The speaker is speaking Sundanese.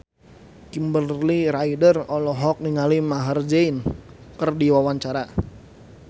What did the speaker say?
Kimberly Ryder olohok ningali Maher Zein keur diwawancara